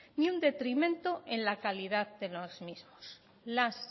ni un detrimento en la calidad de los mismos las